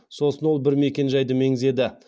сосын ол бір мекенжайды меңзеді